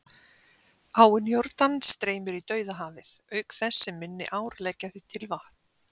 Áin Jórdan streymir í Dauðahafið, auk þess sem minni ár leggja því til vatn.